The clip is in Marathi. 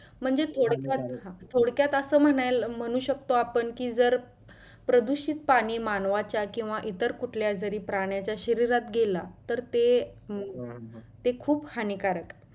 म्हणजे थोडक्यात असं म्हणायला म्हणु शकतो आपण कि जर प्रदुषित पाणी मानवाच्या किंवा इतर कुठल्या जरी प्राण्याच्या शरीरात गेला तर ते ते खूप हानीकार आहे.